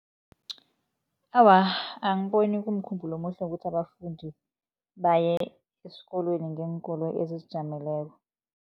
Awa, angiboni kumkhumbulo omuhle ukuthi abafundi baye esikolweni ngeenkoloyi ezizijameleko.